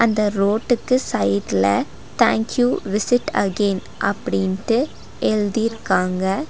அந்த ரோட்டுக்கு சைடுல தேங்க் யூ விசிட் அகைன் அப்டின்ட்டு எழுதிருக்காங்க.